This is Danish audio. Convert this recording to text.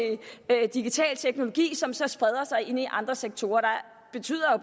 digital teknologi som så spreder sig ind i andre sektorer det betyder